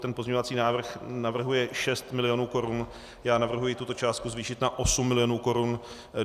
Ten pozměňovací návrh navrhuje 6 milionů korun, já navrhuji tuto částku zvýšit na 8 milionů korun.